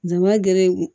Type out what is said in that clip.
Jama gere